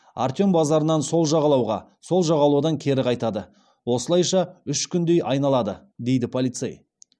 артем базарынан сол жағалауға сол жағалаудан кері қайтады осылайша үш күндей айналады дейді полицей